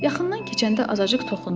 Yaxından keçəndə azacıq toxundum.